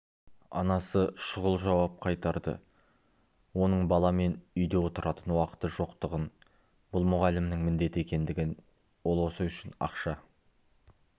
анасы шұғыл жауап қайтарды оның баламен үйде отыратын уақыты жоқтығын бұл мұғалімнің міндеті екендігін ол осы үшін ақша